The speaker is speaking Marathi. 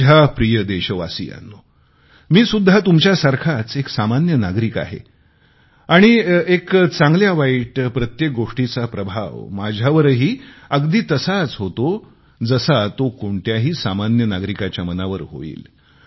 माझ्या प्रिय देशवासियांनो मी सुद्धा तुमच्यासारखाच एक सामान्य नागरिक आहे आणि एक चांगल्यावाईट प्रत्येक गोष्टीचा प्रभाव माझ्यावरही अगदी तसाच होतो जसा तो कोणत्याही सामान्य नागरिकाच्या मनावर होईल